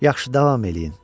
Yaxşı, davam eləyin.